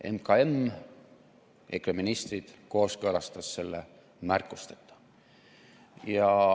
MKM ja EKRE ministrid kooskõlastasid selle märkusteta.